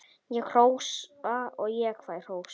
Ég hrósa og fæ hrós.